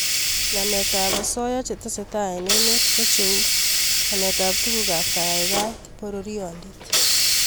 Nametab osoya che tesetai eng emet ko cheu nametab tugukab kaikaikaet, pororiondit